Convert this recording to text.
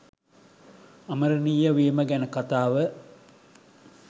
අමරණීය වීම ගැන කතාව